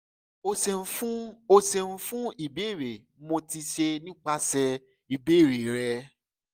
o ṣeun fun o ṣeun fun ibeere rẹ mo ti ṣe nipasẹ ibeere rẹ